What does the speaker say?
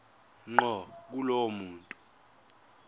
ngqo kulowo muntu